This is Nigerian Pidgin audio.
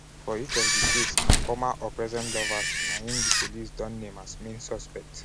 for each of di case na former or present lovers na im di police don name as main suspects.